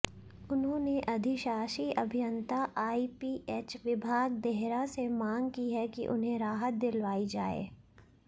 उन्होंने अधिशाषी अभियंता आईपीएच विभाग देहरा से मांग की है कि उन्हें राहत दिलवाई जाए